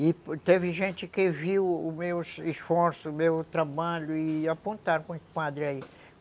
E teve gente que viu o meu esforço, o meu trabalho, e apontaram para um padre aí.